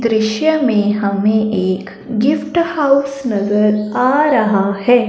दृश्य में हमें एक गिफ्ट हाउस नजर आ रहा है।